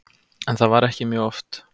En það var ekki mjög oft.